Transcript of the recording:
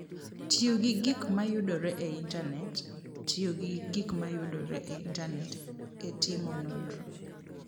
Tiyo gi gik ma yudore e Intanet: Tiyo gi gik ma yudore e Intanet e timo nonro.